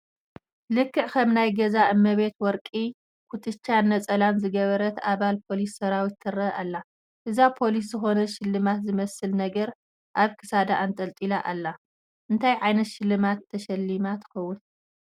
ልክዕ ከም ናይ ገዛ እመቤታት ወርቂ ኩትቻን ነፀላን ዝገበረት ኣባል ፖሊስ ሰራዊት ትርአ ኣላ፡፡ እዛ ፖሊስ ዝኾነ ሽልማት ዝመስል ነገር ኣብ ክሳዳ ኣንጠልጢላ ኣላ፡፡ እንታይ ዓይነት ሽልማት ተሸሊማ ትኸውን?